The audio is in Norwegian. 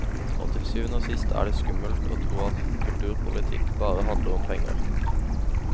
Og til syvende og sist er det skummelt å tro at kulturpolitikk bare handler om penger.